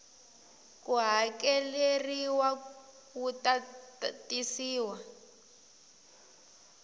ko hakeleriwa wu ta tisiwa